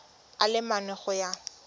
a le mane go ya